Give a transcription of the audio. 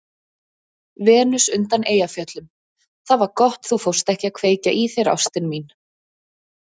Venus undan Eyjafjöllum:- Það var gott þú fórst ekki að kveikja í þér ástin mín.